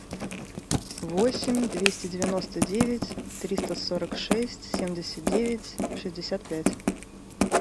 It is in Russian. восемь двести девяносто девять триста сорок шесть семьдесят девять шестьдесят пять